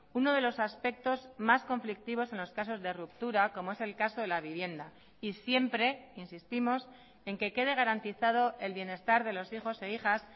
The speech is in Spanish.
uno de los aspectos más conflictivos en los casos de ruptura como es el caso de la vivienda y siempre insistimos en que quede garantizado el bienestar de los hijos e hijas